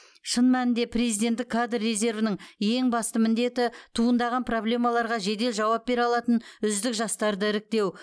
шын мәнінде президенттік кадр резервінің ең басты міндеті туындаған проблемаларға жедел жауап бере алатын үздік жастарды іріктеу